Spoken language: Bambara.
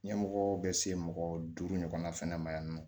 Ɲɛmɔgɔw bɛ se mɔgɔ duuru ɲɔgɔnna fana ma yan nɔ